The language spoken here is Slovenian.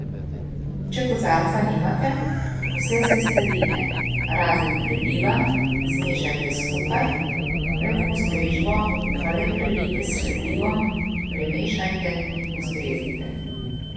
Če kozarca nimate, vse sestavine razen preliva zmešajte skupaj, pred postrežbo pa le prelijte s prelivom, premešajte in postrezite.